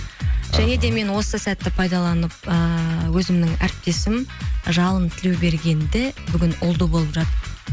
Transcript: және де мен осы сәтті пайдаланып ііі өзімнің әріптесім жалын тілеубергенді бүгін ұлды болып